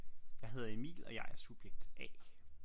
Jeg hedder Emil og jeg er subjekt A